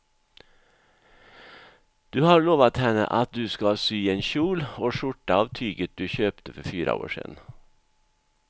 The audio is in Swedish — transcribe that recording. Du har lovat henne att du ska sy en kjol och skjorta av tyget du köpte för fyra år sedan.